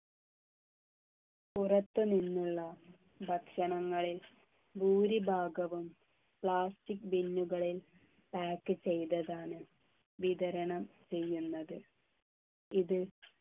പുറത്തുനിന്നുള്ള ഭക്ഷണങ്ങളിൽ ഭൂരിഭാഗവും plastic bin കളിൽ pack ചെയ്തതാണ് വിതരണം ചെയ്യുന്നത് ഇത്